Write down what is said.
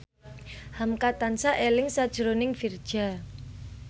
hamka tansah eling sakjroning Virzha